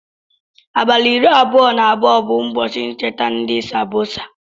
Abali iri abụọ na abụọ bu ụbọchi ncheta ndi sambosa.